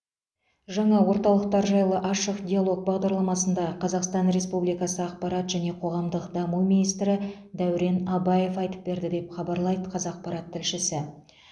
жаңа орталықтар жайлы ашық диалог бағдарламасында қазақстан республикасы ақпарат және қоғамдық даму министрі дәурен абаев айтып берді деп хабарлайды қазақпарат тілшісі